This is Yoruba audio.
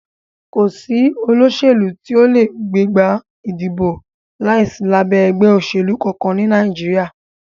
Kò sí olóṣèlú tí o lè gbégbá ìdìbò láìsí lábẹ́ ẹgbẹ́ òṣèlú kankan ní Nàìjíríà.